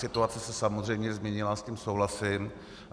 Situace se samozřejmě změnila, s tím souhlasím.